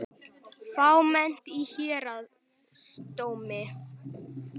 Fámennt í héraðsdómi